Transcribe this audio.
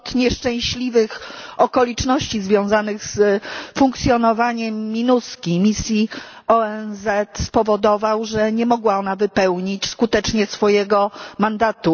Splot nieszczęśliwych okoliczności związanych z funkcjonowaniem MINUSCA misji ONZ spowodował, że nie mogła ona wypełnić skutecznie swojego mandatu.